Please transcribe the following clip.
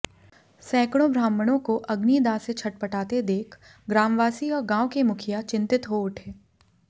सैकड़ों ब्राह्मणों को अग्निदाह से छटपटाते देख ग्रामवासी और गांव के मुखिया चिंतित हो उठे